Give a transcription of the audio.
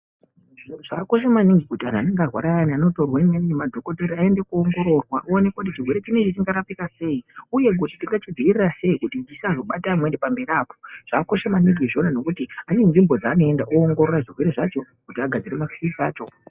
Zviro zvakakosha maningi kuti anenge arwara ayani anotorwa ngemadhokodheya oende koongororwa kuti zvionekwe kuti chirwere ichi chingarapika sei uye tingachidzivirira sei kuti chisazobata amweni pamberi apo, zvakakosha maningi zvonazvo ngekuti pane nzvimbo dzaanoenda oongorore chirwere chacho kuti anasire mapirisi acho.